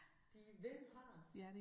De vil have det